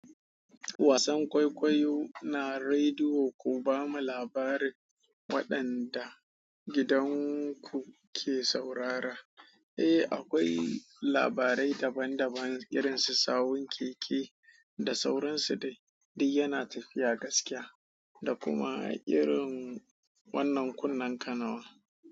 Wasan kwaikwayo na rediyo ku ba mu labarin waɗanda gidanku ke saurara. Eh, akwai labarai daban daban irin su sawun keke da sauransu dai. Duk yana tafiya gaskiya da kuma irin wannan kunnen kanawa.